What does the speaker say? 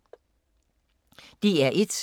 DR1